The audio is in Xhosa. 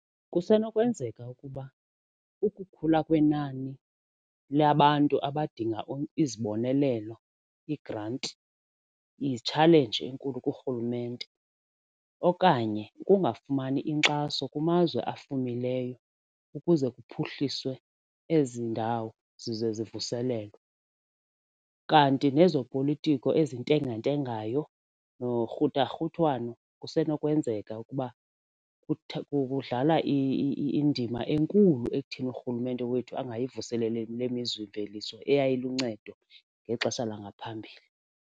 Kusenokwenzeka ukuba ukukhula kwenani lwabantu abadinga izibonelelo iigranti yitshalenji enkulu kurhulumente okanye ukungafumani inkxaso kumazwe afumileyo ukuze kuphuhliswe ezi ndawo zize zivuselelwe, kanti nezopolitiko ezintengentengayo nokurhutharhuthwano kusenokwenzeka ukuba kudlala indima enkulu ekutheni urhulumente wethu angayivuseleli le mizimveliso eyayiluncedo ngexesha langaphambili.